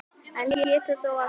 Enn getur þó allt gerst